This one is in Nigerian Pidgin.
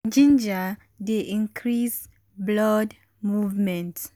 ginger dey increase blood movement.